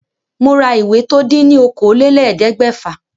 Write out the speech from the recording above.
Mo ra ìwé tó dín ní okòólélẹ́ẹ̀ẹ́dẹ́gbẹ́fà